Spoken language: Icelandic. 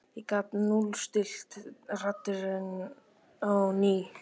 ég gat núllstillt radarinn á ný.